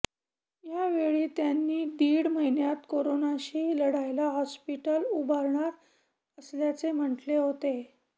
यावेळी त्यांनी दीड महिन्यात कोरोनाशी लढायला हॉस्पिटल उभारणार असल्याचे म्हटले होते